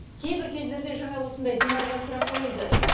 кейбір кездерде жаңа осындай динарға сұрақ қойылды